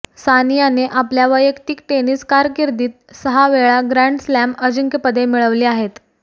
सानियाने आपल्या वैयक्तिक टेनिस कारकीर्दीत सहा वेळा ग्रॅण्ड स्लॅम अजिंक्यपदे मिळविली आहेत